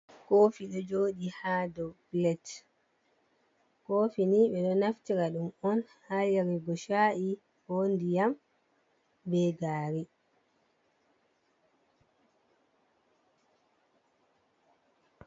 Kofi ɗo joɗi ha ɗow pilet. Kofi ni ɓe ɗo naftira ɗum on ha yarugo sha’i ko ndiyam be gari.